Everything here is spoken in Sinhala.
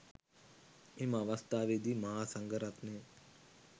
එම අවස්ථාවේදී මහා සංඝරත්නය